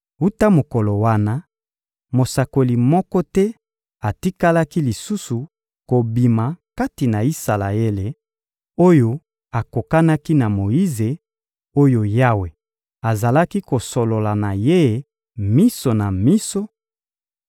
Wuta mokolo wana, mosakoli moko te atikalaki lisusu kobima kati na Isalaele, oyo akokanaki na Moyize oyo Yawe azalaki kosolola na ye miso na miso,